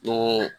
Ko